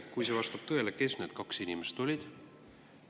Kui see vastab tõele, öelge, kes need kaks inimest olid.